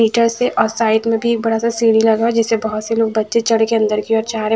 ईटा से और साइड में भी बड़ा सा सीढ़ी लगा हुआ है जिसे बहोत से लोग बच्चे चढ़ के अंदर की ओर जा--